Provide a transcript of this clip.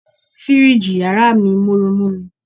Fíríjì yàrá mi ń mọ́ru mú mi.